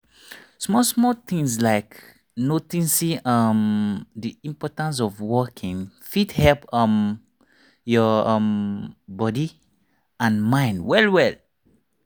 small small things like noticing um the importance of walking fit help um your um body and mind well well.